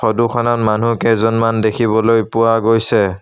Photo খনত মানুহকেইজনমান দেখিবলৈ পোৱা গৈছে।